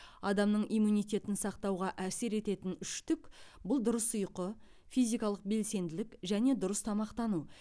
адамның иммунитетін сақтауға әсер ететін үштік бұл дұрыс ұйқы физикалық белсенділік және дұрыс тамақтану